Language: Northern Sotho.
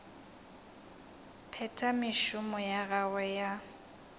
phetha mešomo ya gagwe ya